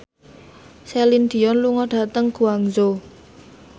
Celine Dion lunga dhateng Guangzhou